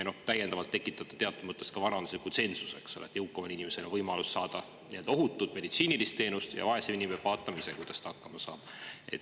Teatud mõttes tekitate te ka varandusliku tsensuse: jõukamal inimesel on võimalus saada ohutut meditsiinilist teenust, aga vaesem inimene peab vaatama ise, kuidas ta hakkama saab.